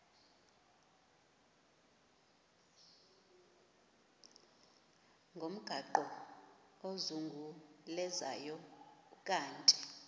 ngomgaqo ozungulezayo ukanti